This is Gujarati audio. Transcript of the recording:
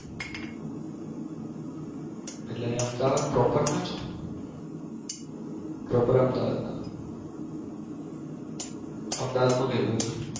એટલે અમદાવાદ Propar ના છો Propar અમદાવાદના. અમદાવાદમાં કયી બાજુ